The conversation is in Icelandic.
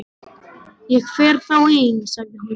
Ég fer þá ein sagði hún.